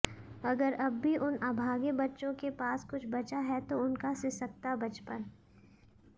अगर अब भी उन अभागे बच्चों के पास कुछ बचा है तो उनका सिसकता बचपन